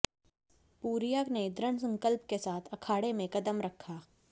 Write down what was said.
पूरीया ने दृढ़ संकल्प के साथ अखाड़े में क़दम रखा